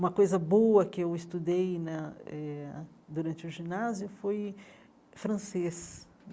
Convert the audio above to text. Uma coisa boa que eu estudei né ãh eh durante o ginásio foi francês.